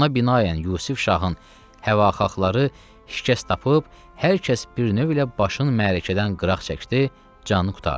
Ona binaən Yusuf Şahın həvahaxları şikəst tapıb, hər kəs bir növü ilə başın məərəkədən qıraq çəkdi, canı qurtardı.